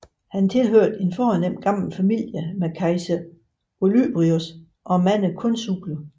Han tilhørte en fornem gammel familie med kejser Olybrius og mange konsuler